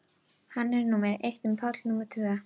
Hann var númer eitt en Páll númer tvö.